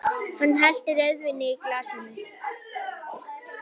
Hann hellti rauðvíni í glasið mitt.